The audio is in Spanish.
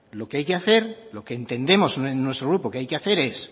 lo que hay que hacer lo que entendemos en nuestro grupo que hay que hacer es